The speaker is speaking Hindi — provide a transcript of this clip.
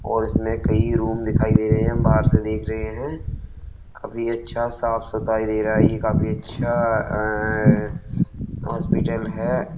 और इसमें कई रूम दिखाई दे रहे हैं। हम बाहर से देख रहे हैं। काफी अच्छा साफ सुथाई दे रहा है। ये काफी अच्छा अअअ हॉस्पिटल है।